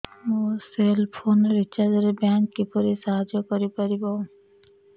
ମୋ cell phone recharge ରେ bank କିପରି ସାହାଯ୍ୟ କରିପାରିବ